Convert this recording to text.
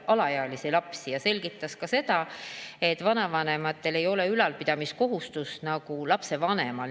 Minister selgitas ka seda, et vanavanemal ei ole sellist ülalpidamiskohustust nagu lapsevanemal.